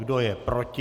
Kdo je proti?